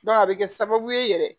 a bɛ kɛ sababu ye yɛrɛ